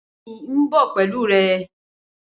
Bẹẹni n bọ pẹlu rẹ